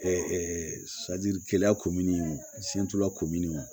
kɛlɛya komini la komini